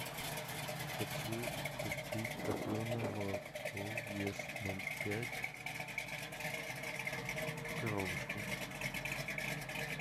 хочу купить топленое молоко вес ноль пять в коробочке